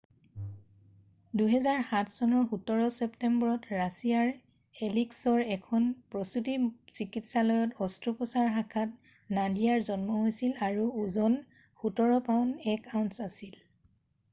2007 চনৰ 17 ছেপ্টেম্বৰত ৰাছিয়াৰ এলিছকৰ এখন প্ৰসুতী চিকিৎসালয়ত অস্ত্ৰোপচাৰ শাখাত নাডিয়াৰ জন্ম হৈছিল আৰু ওজন 17 পাউণ্ড 1 আউন্স আছিল